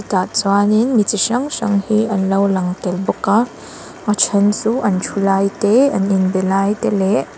tah chuanin mi chi hrang hrang te an lo lang tel bawk a a then chu an thu lai te an inbe lai te leh--